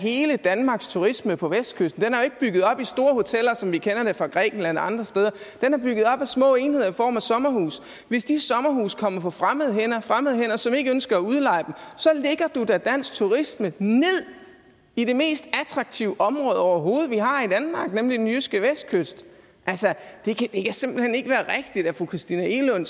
hele danmarks turisme på vestkysten af store hoteller som vi kender det fra grækenland og andre steder af små enheder i form af sommerhuse hvis de sommerhuse kommer på fremmede hænder fremmede hænder som ikke ønsker at udleje dem så lægger du da dansk turisme ned i det mest attraktive område vi overhovedet har i danmark nemlig den jyske vestkyst altså det kan simpelt hen ikke være rigtigt at fru christina egelund